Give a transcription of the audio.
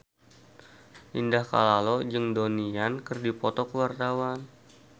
Indah Kalalo jeung Donnie Yan keur dipoto ku wartawan